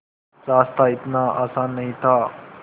रास्ता इतना आसान नहीं था